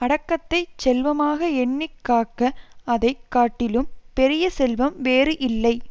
அடக்கத்தைச் செல்வமாக எண்ணி காக்க அதை காட்டிலும் பெரிய செல்வம் வேறு இல்லை